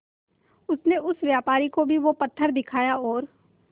उनसे उस व्यापारी को भी वो पत्थर दिखाया और